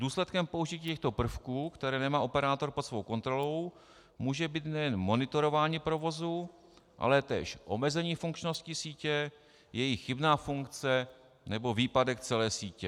Důsledkem použití těchto prvků, které nemá operátor pod svou kontrolou, může být nejen monitorování provozu, ale též omezení funkčnosti sítě, jejich chybná funkce, nebo výpadek celé sítě.